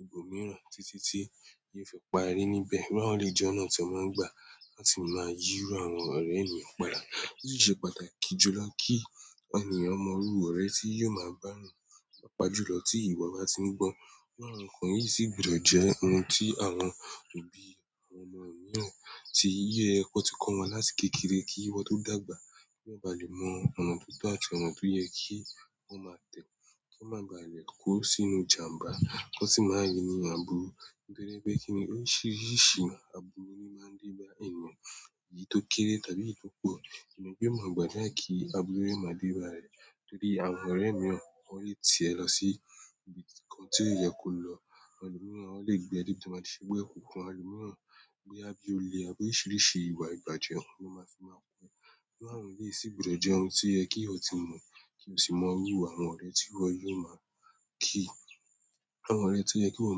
ibòmíràn títí tí ó yẹ fẹ́ parí níbẹ̀. Wọ́n lè jẹ́ ọ̀nà tí wọ́n máa ń gbà láti máa yíru àwọn ọ̀rẹ́ èèyàn padà. Ó sì ṣe pàtàkì jùlọ kí ènìyàn mọrú ọ̀rẹ́ tí yóò máa bá a rìn pàápàá jù lọ tí ìwọ bá ti ń gbọ́. Bí àwọn kan yìí sì gbọdọ̀ jẹ́ ohun tí àwọn òbí àwọn ọmọ mìíràn tí yẹ ẹ kọ́ wọn láti kékeré kí wọ́n tó dàgbà kí wọ́n má ba lè mọ ọ̀nà tó tọ́ àti ọ̀nà tó yẹ kí wọ́n má tẹ̀, kí wọ́n má bà léè kú sínú ìjàǹbá, wọ́n sì má rìn ní àbúrú. Nítorí pé kíni oríṣiríṣi àbúrú ni ó máa ń dé bá ènìyàn, èyí tó kéré tàbí èyí tó pọ̀. Ènìyàn a ma ma gbàdúrà ki aburu ma de odeo eyan, àwọn ọ̀rẹ́ mi le ti ènìyàn sibi ti ko ye ko lo. Ẹlòmíràn ó lè gbé ẹ débi tó máa ṣe gbé ẹ kù, àwọn ẹlòmíràn gbé ẹ bí o lé a, pé oríṣiríṣi ìwà ìbàjẹ́ ni wọ́n máa sì máa pè. Bí àwọn yìí sì gbọdọ̀ jẹ́ ohun tí yẹ kí ẹ ti mọ̀ kí o sì mọrú àwọn ọ̀rẹ́ tí ìwọ yóò máa kí, àwọn ọ̀rẹ́ tí yẹ kí o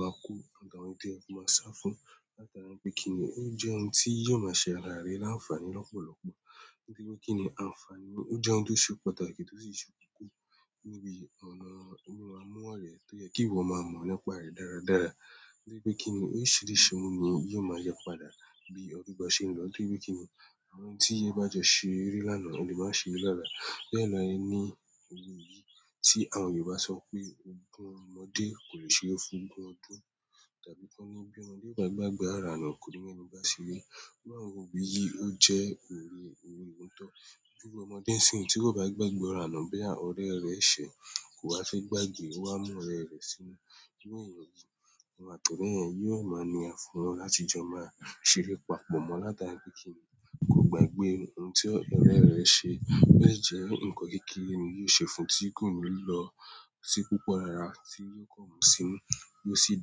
máa kó àdàwùntí ẹ máa sá fún láti ara ẹ pé kíni ó jẹ́ ohun tí yóò máa ṣe àlàárẹ̀ láǹfààní lọ́pọ̀lọpọ̀. Nítorí pé kíni àǹfààní ó jẹ́ ohun tó ṣe pàtàkì tó sì ṣe kúkú níbi ọ̀nà ìmúmọ̀ ọ̀rẹ́ tó yẹ kí ìwọ máa mọ̀ nípa rẹ̀ dáradára. Nítorí pé kíni oríṣiríṣi ohun ni yóò máa yípadà bí ọdún bá ṣe ń lọ, nítorí pé kíni àwọn tí yẹ bá jọ ṣe eré lánàá, ẹ lè má ṣe é lálàá. Bẹ́ẹ̀ laí ní òwe yìí tí àwọn Yorùbá sọ pé "ogún ọmọdé kò lè ṣe é fún ogún ọdún" tàbí kí wọ́n ní "bí ọmọdé ò bá gba ìgbá ìgbà àràlọ̀ kò ní mọ ẹni bá ṣe é". Bí àwọn òwe yìí ó jẹ́ òwe ohun tó dúró ọmọdé sí ìlú tí kò bá gba ìgbà àràlọ̀ bóyá ọ̀rẹ́ rẹ̀ ṣe é, kò ha fi gbàge wá mú ọ̀rẹ́ rẹ̀ sínú. Ní ọ̀yìnbó, àwọn àpọ̀rọ́ yẹn yóò máa ní àfọ̀rọ́ láti jọ máa ṣe eré papọ̀ mọ́ látara pé kíni kò gba ìgbé ohun tí ọ̀rẹ́ rẹ ṣe. Béèjì ẹ̀, nǹkan kékeré ni yóò ṣe fún tí kò ní lọ sí púpọ̀ rara tí yóò kọ́ ọmọ sínú tí ó sì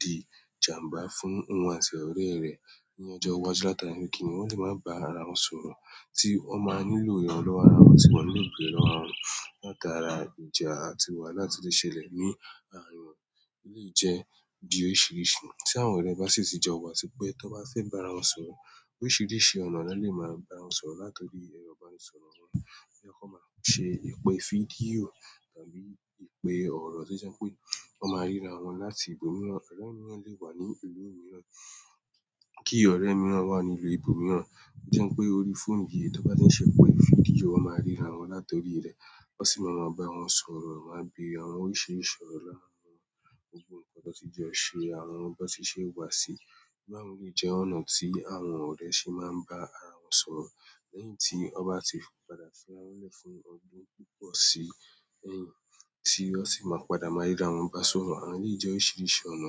di ìjàǹbá fún òun àti ọ̀rẹ́ rẹ̀ ní ọjọ́ iwájú látara pé kíni wọn sì máa ń bá ara wọn sọ̀rọ̀ tí wọ́n máa nílò ìrànlọ́wọ́ ara wọn sì máa nílò ìgbéraga ara wọn látara ìjà àti ìwà láti lè ṣẹlẹ̀ ní ara wọn. Ó lè jẹ́ bí i oríṣiríṣi tí àwọn ọ̀rẹ́ bá sì ti jọ wà sí pé tó bá fẹ́ bá ara wọn sọ̀rọ̀, oríṣiríṣi ọ̀nà ni wọ́n lè máa bá ara wọn sọ̀rọ̀ látorí ẹrọ ìbánisọ̀rọ̀ wọn yẹ kó máa ṣe ìpè fídíò tàbí ìpè ọ̀rọ̀ tí ó jẹ́ pé wọ́n máa ríra wọn láti ibòmíràn. Ki ọ̀rẹ́ miran wa ni ipò miran, o le je orí fonu ni e ti ma sọ̀rọ̀. Wọ́n sì máa mọ bí wọ́n ń sọ̀rọ̀, wọ́n máa ń bẹ̀rẹ̀ àwọn oríṣiríṣi ọ̀rọ̀ láàárín wọn, gbogbo nǹkan tó ti jọ ṣe, àwọn tó ti ṣe wà sí i. Bí àwọn yìí jẹ́ ọ̀nà tí àwọn ọ̀rẹ́ ṣe máa ń bá ara wọn sọ̀rọ̀ lẹ́yìn tí wọ́n bá ti padà fi ara wọn lẹ̀ fún ọdún púpọ̀ sí ẹ̀yìn tí ó sì máa padà máa ríra wọn bá sọ̀rọ̀. Àwọn yìí jẹ́ oríṣiríṣi ọ̀nà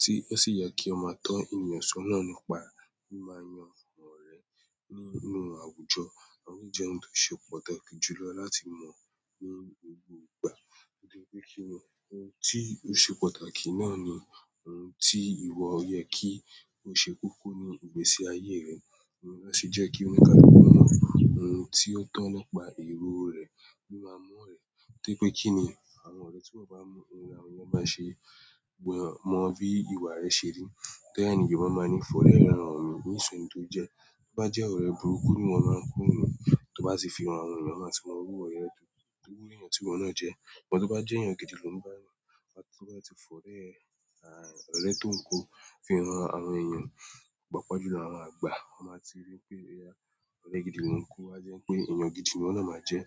tí ó sì yẹ kí ọ máa tọ́ ènìyàn sọ́nà nípa bí máa yan àwọn ọ̀rẹ́ nínú àwùjọ. Àwọn yìí jẹ́ ohun tó ṣe pàtàkì jùlọ láti mọ̀ ní gbogbo ìgbà. Nítorí pé kíni ohun tí ó ṣe pàtàkì náà ni ohun tí ìwọ yẹ kí o ṣe kúkú ní ìgbésí ayé rẹ, ó sì jẹ́ kí o ní ká mọ ohun tí ó tọ́ nípa èrò rẹ nípa ọmọ rẹ. Nítorí pé kíni àwọn ọ̀rẹ́ tí wọ́n bá mọ ohun ìran wọn bá ṣe gbọ́n mọ bí ìwà rẹ ṣe rí, tẹ́ẹ̀ laí ni ò máa máa ní fọ̀rẹ́ ẹran ọmọ mi ní ìsọ̀rí tó jẹ. Tó bá jẹ́ ọ̀rẹ́ burúkú ni wọ́n máa ń kúrò nínú, tó bá ti fi ara wọn yàn, wọ́n máa sì mọrú ọ̀rẹ́ rẹ torí pé èèyàn tí wọ́n náà jẹ́. Sugbo to be ye eyan gidi eyan gidi niwo na ma je.